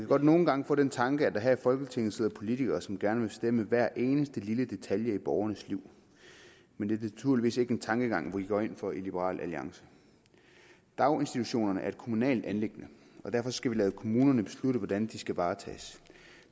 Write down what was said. godt nogle gange få den tanke at der her i folketinget sidder politikere som gerne vil bestemme hver eneste lille detalje i borgernes liv men det er naturligvis ikke en tankegang vi går ind for i liberal alliance daginstitutionerne er et kommunalt anliggende og derfor skal vi lade kommunerne beslutte hvordan de skal varetages